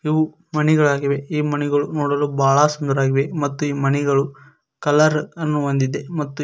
ಇವು ಮಣಿಗಳಾಗಿವೆ ಈ ಮಣಿಗಳು ನೋಡಲು ಬಹಳ ಸುಂದರವಾಗಿವೆ ಮತ್ತು ಈ ಮಣಿಗಳು ಕಲರ ಅನ್ನು ಹೊಂದಿದೆ ಮತ್ತು.